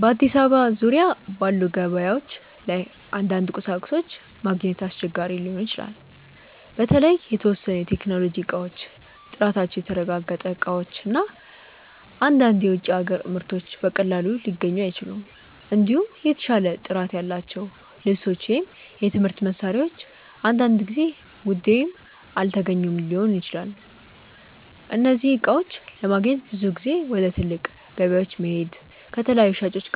በአዲስ አበባ ዙሪያ ባሉ ገበያዎች ላይ አንዳንድ ቁሳቁሶች ማግኘት አስቸጋሪ ሊሆን ይችላል። በተለይ የተወሰኑ የቴክኖሎጂ እቃዎች፣ ጥራታቸው የተረጋገጠ እቃዎች እና አንዳንድ የውጭ አገር ምርቶች በቀላሉ ሊገኙ አይችሉም። እንዲሁም የተሻለ ጥራት ያላቸው ልብሶች ወይም የትምህርት መሳሪያዎች አንዳንድ ጊዜ ውድ ወይም አልተገኙ ሊሆኑ ይችላሉ። እነዚህን እቃዎች ለማግኘት ብዙ ጊዜ ወደ ትልቅ ገበያዎች መሄድ፣ ከተለያዩ ሻጮች